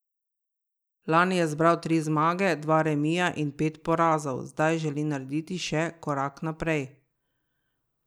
Lani je zbral tri zmage, dva remija in pet porazov, zdaj želi narediti še korak naprej.